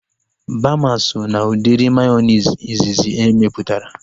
Baama so na udiri mayonezi izizi emeputara